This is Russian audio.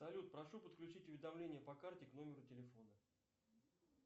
салют прошу подключить уведомление по карте к номеру телефона